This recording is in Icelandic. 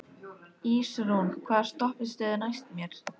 Ísrún, hvaða stoppistöð er næst mér?